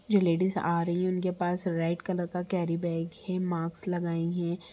जो लेडीज आ रही हैं उनके पास रेड कलर का केरी बैग है। मास्क लगाई हैं।